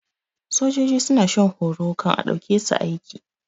Sojoji suna shan horo kan a ɗauke su aiki